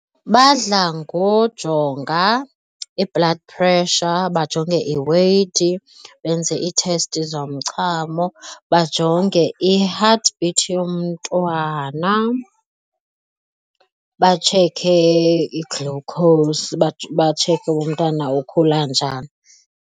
Badla ngojonga i-blood pressure, bajonge i-weght benze iithesti zomchamo bajonge i-heart beat yomntwana, batsheke i-glucose, batsheke umntana ukhula njani.